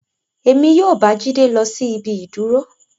Emi yoo ba Jide lọ si ibi iduro.